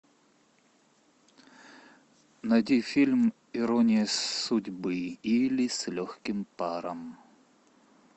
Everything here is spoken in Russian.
найди фильм ирония судьбы или с легким паром